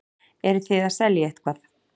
Eruð þið að selja eitthvað?